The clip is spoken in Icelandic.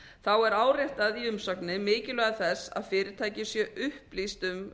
þá er áréttað í umsögninni mikilvægi þess að fyrirtæki séu upplýst um